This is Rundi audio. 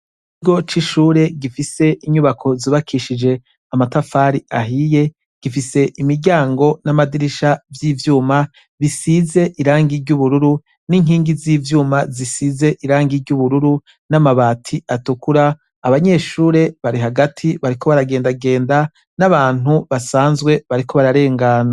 Niroc'ishure gifise inyubako zubakishije amatafari ahiye gifise imiryango n'amadirisha vy'ivyuma bisize irang iryo ubururu n'inkingi z'ivyuma zisize iranga iryo ubururu n'amabati atukura abanyeshure bari hagati bariko baragendagenda n'abantu basanzwe bariko bararengama.